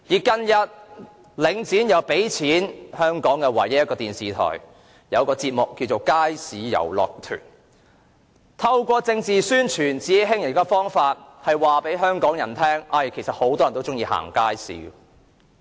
近日，領展又贊助香港唯一一間電視台的一個節目，就是"街市遊樂團"，透過政治宣傳和自欺欺人的方法，試圖告訴香港人有很多人都喜歡逛街市。